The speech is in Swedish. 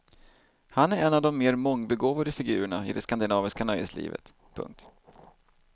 Han är en av de mer mångbegåvade figurerna i det skandinaviska nöjeslivet. punkt